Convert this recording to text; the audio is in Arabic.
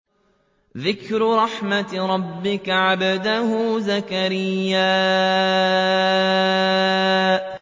ذِكْرُ رَحْمَتِ رَبِّكَ عَبْدَهُ زَكَرِيَّا